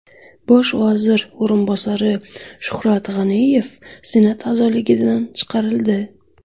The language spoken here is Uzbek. Bosh vazir o‘rinbosari Shuhrat G‘aniyev Senat a’zoligidan chiqarildi.